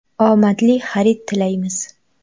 Omadli xarid tilaymiz!